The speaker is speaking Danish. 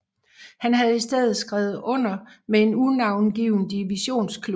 Han havde i stedet skrevet under med en unavngiven divisionsklub